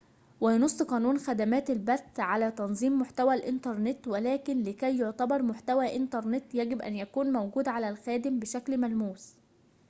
وينص قانون خدمات البث على تنظيم محتوى الإنترنت ولكن لكي يعتبر محتوى إنترنت يجب أن يكون موجوداً على الخادم بشكل ملموس